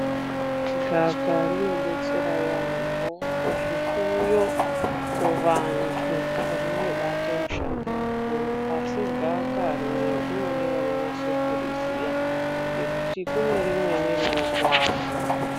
Gawakawa rinodetsera yaambo kuzvifuyo, kuvantu rinobate mushando mukuru. Asi gawakawa rineri rinode vanonase kuriziya ngekuti kune rimweni rinokuwadza.